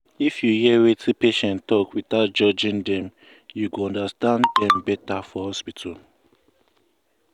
if you hear wetin patient talk without judging dem you go understand dem better for hospital.